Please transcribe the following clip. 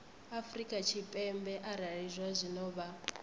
afrika tshipembe arali zwazwino vha